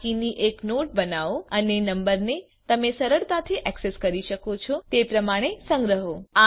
આ કી ની એક નોટ બનાઓ અને નંબરને તમે સરળતાથી ઍક્સેસ કરી શકો છો તે પ્રમાણે સંગ્રહો